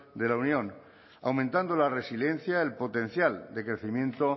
de la unión aumentando la resiliencia el potencial de crecimiento